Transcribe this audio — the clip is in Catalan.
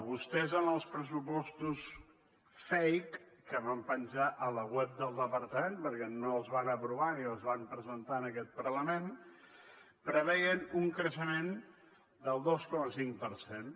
vostès en els pressupostos fake que van penjar a la web del departament perquè no es van aprovar ni els van presentar en aquest parlament preveien un creixement del dos coma cinc per cent